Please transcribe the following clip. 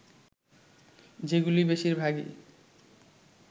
যেগুলি বেশির ভাগই